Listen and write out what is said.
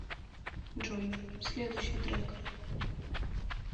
джой следущий трек